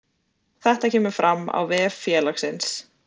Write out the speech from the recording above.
Þetta kemur fram á vef félagsins